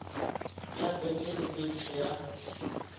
ya beke le beke ya